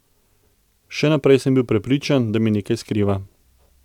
Še naprej sem bil prepričan, da mi nekaj skriva.